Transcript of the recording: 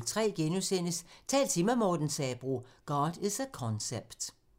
05:03: Tal til mig – Morten Sabroe: "God is a concept" *